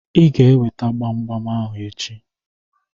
Ị ga-eweta gbam gbam ahụ echi.